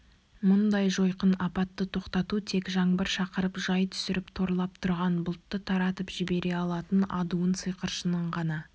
мұндай жойқын апатты тоқтату тек жаңбыр шақырып жай түсіріп торлап тұрған бұлтты таратып жібере алатын адуын сиқыршының ғана